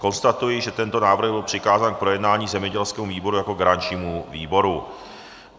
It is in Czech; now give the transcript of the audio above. Konstatuji, že tento návrh byl přikázán k projednání zemědělskému výboru jako garančnímu výboru.